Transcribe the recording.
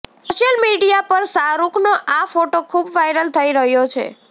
social media પર શાહરૂખનો આ ફોટો ખૂબ વાયરલ થઇ રહ્યો છે